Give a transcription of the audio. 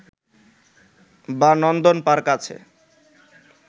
বা নন্দন পার্ক আছে